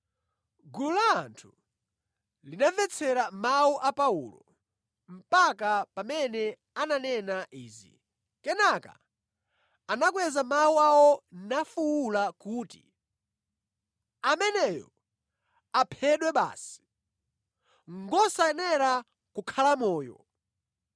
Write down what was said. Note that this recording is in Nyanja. Gulu la anthu linamvetsera mawu a Paulo mpaka pamene ananena izi, kenaka anakweza mawu awo nafuwula kuti, “Ameneyo aphedwe basi! Ngosayenera kukhala moyo!”